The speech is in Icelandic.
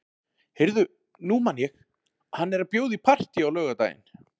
Heyrðu, nú man ég. hann er að bjóða í partí á laugardaginn.